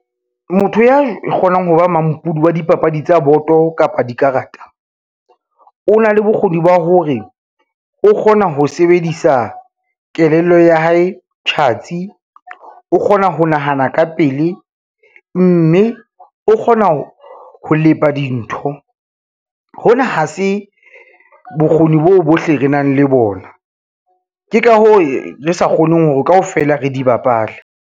Motho ya kgonang ho ba mampudi wa dipapadi tsa boto kapa dikarata, o na le bokgoni ba hore o kgona ho sebedisa kelello ya hae tjhatsi, o kgona ho nahana ka pele, mme o kgona ho lepa dintho. Hona ha se bokgoni boo bohle re nang le bona, ke ka hoo re sa kgoneng hore kaofela re di bapale.